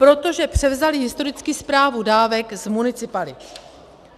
Protože převzali historicky správu dávek z municipalit.